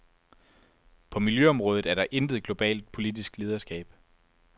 På miljøområdet er der intet globalt politisk lederskab.